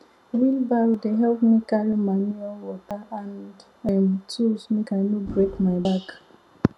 wheelbarrow dey help me carry manure water and um tools mk i no break my back